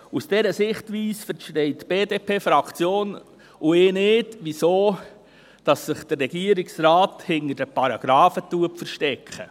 Aus dieser Sichtweise verstehen die BDP-Fraktion und ich nicht, wieso sich der Regierungsrat hinter den Paragrafen versteckt.